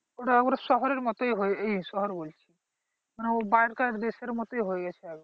টা ওই শহরের মতোই এই মানে শহর বলছি ওর কাজ দেশের মতোই হয়ে গেছে